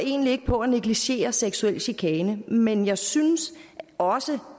egentlig ikke på at negligere seksuel chikane men jeg synes også